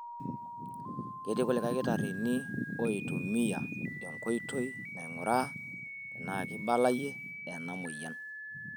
Ketii kulie kitarrini oitumiya enkoitoi nainguraa tenaa keibulayie ena moyian.